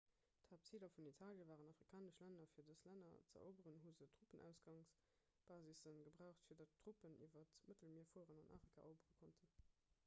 d'haaptziler vun italie waren afrikanesch länner fir dës länner ze eroberen hu se truppenausgangsbasisse gebraucht fir datt truppen iwwer d'mëttelmier fueren an afrika erobere konnten